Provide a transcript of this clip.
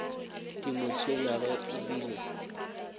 di mo tshwenyago e bile